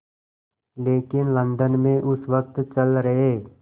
लेकिन लंदन में उस वक़्त चल रहे